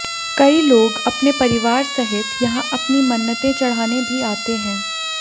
कई लोग अपने परिवार सहित यहां अपनी मन्नते चढ़ाने भी आते हैं